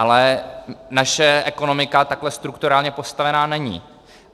Ale naše ekonomika takhle strukturálně postavená není.